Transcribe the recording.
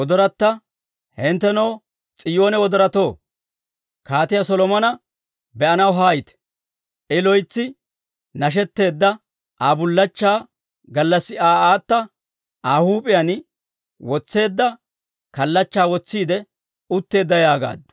Hinttenoo, S'iyoone wodoratoo, Kaatiyaa Solomona be'anaw haayite! I loytsi nashetteedda, Aa bullachchaa gallassi Aa aata Aa huup'iyaan, wotseedda kallachchaa wotsiide utteedda yaagaaddu.